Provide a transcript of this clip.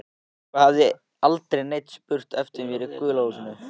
Það hafði aldrei neinn spurt eftir mér í gula húsinu.